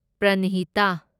ꯄ꯭ꯔꯟꯍꯤꯇꯥ